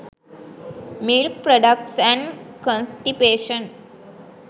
milk products and constipation